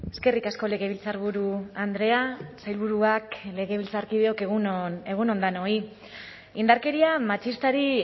eskerrik asko legebiltzarburu andrea sailburuak legebiltzarkideok egun on denoi indarkeria matxistari